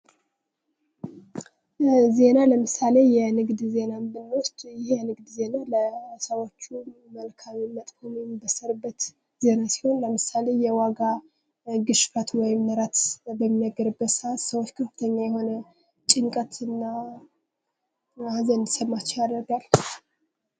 "ዜና:- ለምሳሌ የንግድ ዜናን ብንወስድ ይህ የንግድ ዜና ለሰዎቹም መልካምም መጥፎም የሚበሰርበት ዜና ሲሆን, ለምሳሌ፦ የዋጋ ግሽበት ወይም ንረት በሚነገርበት ስአት ሰዎች ከፍተኛ የሆነ ጭንቀትና ሃዘን እንዲሰማቸው ያደርጋል።"